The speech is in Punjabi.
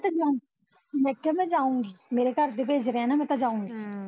ਮੈਂ ਤਾਂ ਜਾਊ ਮੈਂ ਕਿਹਾਂ ਮੈਂ ਤਾਂ ਜਾਊਗੀ, ਮੇਰੇ ਘਰਦੇ ਭੇਜ ਰਹੇ ਆ ਮੈਂ ਜਾਊਗੀ ਹਮ